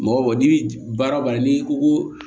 Mɔgɔ n'i bɛ baara o baara n'i ko ko